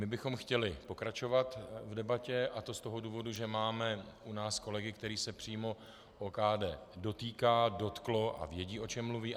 My bychom chtěli pokračovat v debatě, a to z toho důvodu, že máme u nás kolegy, kterých se přímo OKD dotýká, dotklo a vědí, o čem mluví.